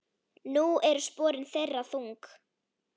Nú eru sporin þeirra þung.